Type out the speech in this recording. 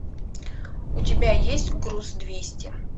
у тебя есть груз двести